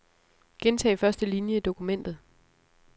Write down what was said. Gentag første linie i dokumentet.